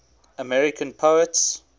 american poets